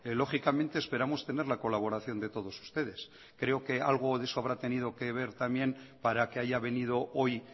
lógicamente esperamos tener la colaboración de todos ustedes creo que algo de eso habrá tenido que ver también para que haya venido hoy